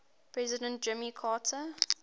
president jimmy carter